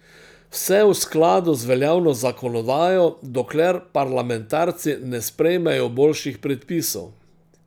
Vse v skladu z veljavno zakonodajo, dokler parlamentarci ne sprejmejo boljših predpisov.